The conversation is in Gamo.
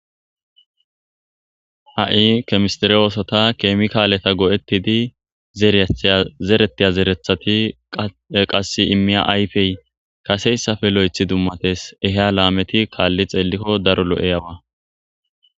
Ha'i kemistir oosota keemi kaaleta go'ettidi zereetyazeretiya zerethati qasse immiya ayfey kaseyssafe lo'ethi dummates eheya laameti kaalli xeellikko daro lo'ey awa.